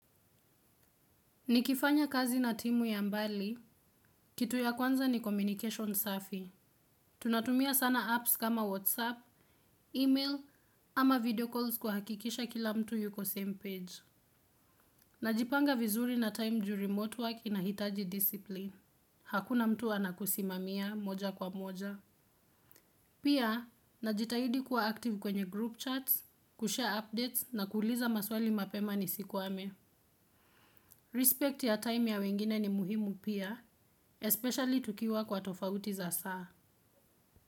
Nikifanya kazi na timu ya mbali, kitu ya kwanza ni communication safi. Tunatumia sana apps kama WhatsApp, email ama video calls kuhakikisha kila mtu yuko same page. Najipanga vizuri na time ju remote work inahitaji discipline. Hakuna mtu anakusimamia moja kwa moja. Pia, najitahidi kuwa active kwenye group chats, kushare updates na kuuliza maswali mapema ni sikwame. Respect ya time ya wengine ni muhimu pia, especially tukiwa kwa tofauti za saa.